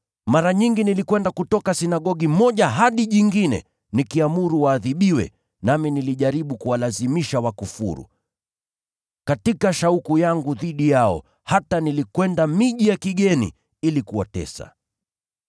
Mara nyingi nilikwenda kutoka sinagogi moja hadi ingine nikiamuru waadhibiwe, nami nilijaribu kuwalazimisha wakufuru. Katika shauku yangu dhidi yao, hata nilikwenda miji ya kigeni ili kuwatesa.